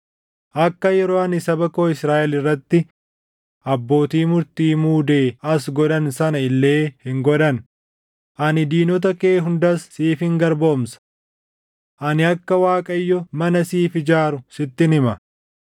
akka yeroo ani saba koo Israaʼel irratti abbootii murtii muudee as godhan sana illee hin godhan; ani diinota kee hundas siifin garboomsa. “ ‘Ani akka Waaqayyo mana siif ijaaru sittin hima: